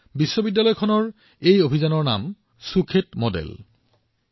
বিশ্ববিদ্যালয়খনৰ উদ্যোগটোক সুখেত মডেল বুলি কোৱা হয়